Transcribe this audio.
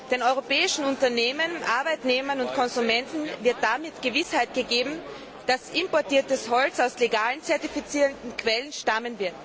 Den europäischen Unternehmen, Arbeitnehmern und Konsumenten wird damit Gewissheit gegeben, dass importiertes Holz aus legalen, zertifizierten Quellen stammt.